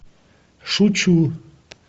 шучу